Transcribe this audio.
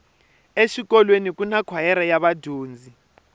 exikolweni kuna kwayere ya vadyondzi